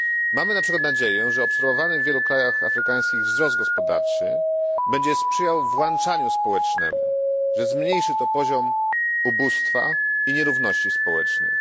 Mamy na przykład nadzieję, że obserwowany w wielu afrykańskich krajach wzrost gospodarczy będzie sprzyjał włączaniu społecznemu, że zmniejszy to poziom ubóstwa i nierówności społecznych.